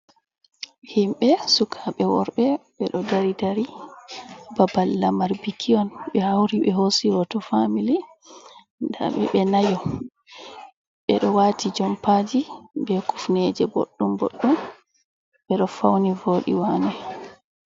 Himɓɓe sukaɓɓe worɓe ɓeɗo dari dari babal lamar bikion ɓe hauri be hosi hoto famili nda ɓe ɓe nayo ɓeɗo wati jompaji be kufneje ɓoɗɗum boɗɗum ɓeɗo fauni vodi wane.